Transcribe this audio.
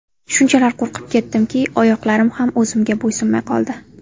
Shunchalar qo‘rqib ketdimki, oyoqlarim ham o‘zimga bo‘ysunmay qoldi.